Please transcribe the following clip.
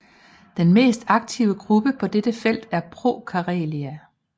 Den mest aktive gruppe på dette felt er ProKarelia